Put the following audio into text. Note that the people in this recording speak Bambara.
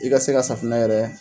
I ka se ka safunɛ yɛrɛ